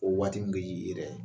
O waati min ke di i yɛrɛ ye.